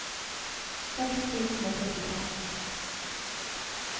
seks tusen og førtifem